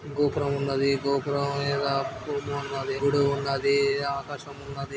గోపురం ఉన్నది గోపురం పైన పూలు ఉన్నవి గుడి ఉన్నది ఆకాశం ఉన్నది.